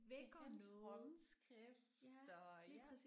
Det er hans håndskrift og ja